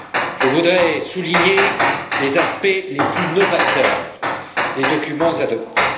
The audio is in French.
Je voudrais souligner les aspects les plus novateurs des documents adoptés.